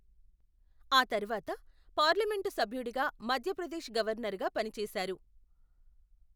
ఆ తర్వాత పార్లమెంటు సభ్యుడిగా మధ్యప్రదేశ్ గవర్నర్ గా పనిచేశారు.